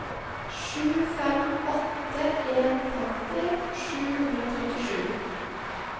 sju fem åtte en femti sju hundre og trettisju